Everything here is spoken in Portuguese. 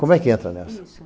Como é que entra nessa? Isso...